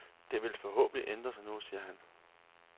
Det vil forhåbentlig ændre sig nu, siger han.